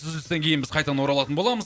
үзілістен кейін біз қайтадан оралатын боламыз